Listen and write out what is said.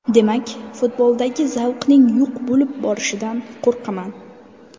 Demak, futboldagi zavqning yo‘q bo‘lib borishidan qo‘rqaman.